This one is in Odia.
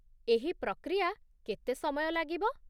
ଏହି ପ୍ରକ୍ରିୟା କେତେ ସମୟ ଲାଗିବ?